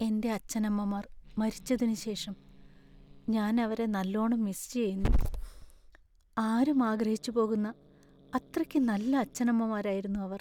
എന്‍റെ അച്ഛനമ്മമാർ മരിച്ചതിനുശേഷം ഞാൻ അവരെ നല്ലോണം മിസ് ചെയ്യുന്നു. ആരും ആഗ്രഹിച്ചു പോകുന്ന അത്രക്ക് നല്ല അച്ഛനമ്മമാരായിരുന്നു അവർ.